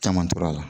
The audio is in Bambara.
Caman tora a la